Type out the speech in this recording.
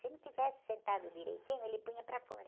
Se não estivesse sentado direitinho, ele punha para fora.